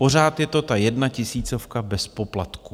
Pořád je to ta jedna tisícovka bez poplatku.